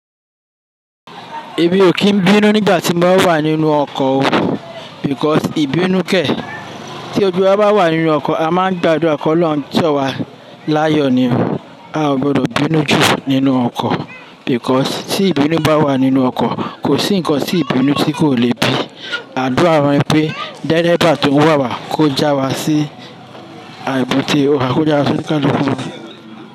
Emi ò kí n bínú nígbà tí máa ń wà nínú ọkọ̀ o, because ìbínú kẹ̀, tí gbogbo wa bá wà nínú ọkọ̀ a máa ń gbádùa ki Olorun ń ṣọ̀wa láyọ̀ ni o. Ò gbọ́dọ̀ bínú jù nínú ọkọ̀ because tí ìbínú bá wà nínú ọkọ̀, kò sí ǹnkan tí ìbínú tí kò leè bí. Adùa wá ni pé dẹ́rẹ́ba tó ń wà wà kó já wa sí àìbù té ọkọ̀ kó já wa sí káńkọ̀ fúnni.